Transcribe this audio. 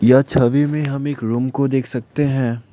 यह छवि में हम एक रूम को देख सकते हैं।